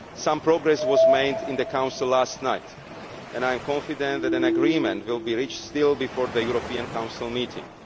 Some progress was made in the Council last night, and I am confident that an agreement will still be reached before the European Council meeting.